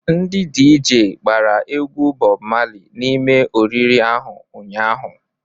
Ndi DJ gbara egwu Bob Marley n'ime oriri ahu ụnyahụ?